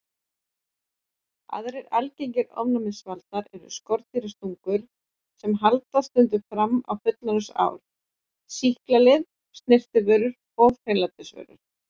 Aðrir algengir ofnæmisvaldar eru skordýrastungur sem haldast stundum fram á fullorðinsár, sýklalyf, snyrtivörur og hreinlætisvörur.